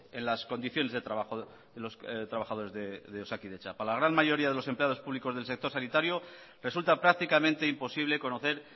en las condiciones de trabajo de los trabajadores de osakidetza para la gran mayoría de los empleados públicos del sector sanitario resulta prácticamente imposible conocer